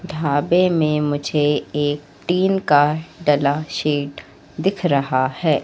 ढाबे में मुझे एक टीन का डला शीट दिख रहा हैं।